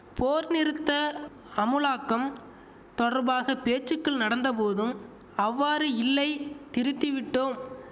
போர் நிறுத்த அமுலாக்கம் தொடர்பாக பேச்சுக்கள் நடந்தபோதும் அவ்வாறு இல்லை திருத்திவிட்டோம்